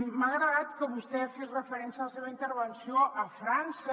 m’ha agradat que vostè fes referència en la seva intervenció a frança